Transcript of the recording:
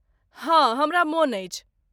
हाँ, हमरा मोन अछि।